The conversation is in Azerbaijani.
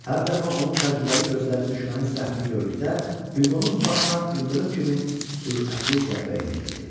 Hər dəfə onun təcrübəli gözləri düşmənin səhvini gördükdə, Huqonun başına ildırım kimi sürətli zərbə endirirdi.